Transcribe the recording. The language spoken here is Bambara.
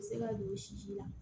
U bɛ se ka don i sisi la